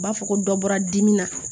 U b'a fɔ ko dɔ bɔra dimi na